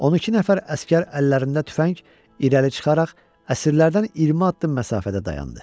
On iki nəfər əsgər əllərində tüfəng irəli çıxaraq əsirlərdən 20 addım məsafədə dayandı.